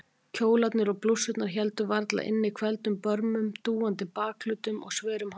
Kjólarnir og blússurnar héldu varla inni hvelfdum börmum, dúandi bakhlutum og sverum handleggjum.